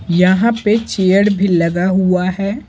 यहां पे चेयर भी लगा हुआ है।